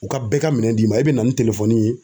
U ka bɛɛ ka minɛn d'i ma. E be na ni ye